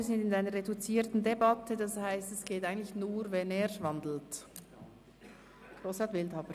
Da wir eine reduzierte Debatte führen, geht dies eigentlich nur, wenn er den Vorstoss umwandelt.